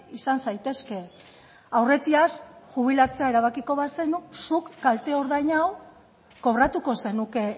izan zaitezke aurretiaz jubilatzea erabakiko bazenu zuk kalteordain hau kobratuko zenuke